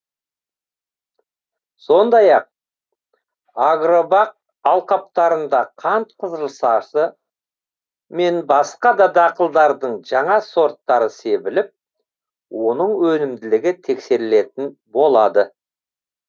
сондай ақ агробақ алқаптарында қант қызылшасы мен басқа да дақылдардың жаңа сорттары себіліп оның өнімділігі тексерілетін болады